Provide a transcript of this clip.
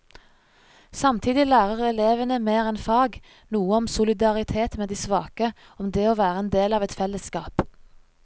Samtidig lærer elevene mer enn fag, noe om solidaritet med de svake, om det å være en del av et fellesskap.